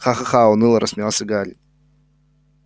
ха-ха-ха уныло рассмеялся гарри